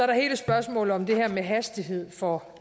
der hele spørgsmålet om det her med hastighed for